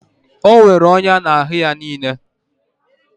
E nwere ọnya n'ahụ ya niile